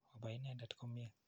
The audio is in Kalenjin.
Opai inendet komnye.